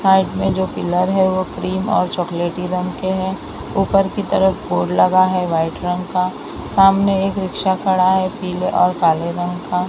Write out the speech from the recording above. Side में जो pillar है वो क्रीम और चॉकलेटी रंग के हैं ऊपर की तरफ बोर्ड लगा है वाइट रंग का सामने एक रिक्शा खड़ा है पीले और काले रंग का।